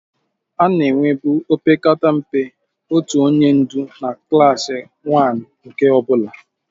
A na-enwebu opekata mpe otu onye ndu na klaasị waanu nke ọ bụla.